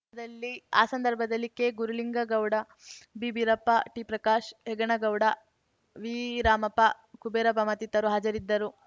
ದಲ್ಲಿ ಆ ಸಂದರ್ಭದಲ್ಲಿ ಕೆಗುರುಲಿಂಗಗೌಡ ಬಿಬೀರಪ್ಪ ಟಿಪ್ರಕಾಶ್ ಹೆಗನಗೌಡ ವಿರಾಮಪ್ಪ ಕುಬೇರಪ್ಪ ಮತ್ತಿತರು ಹಾಜರಿದ್ದರು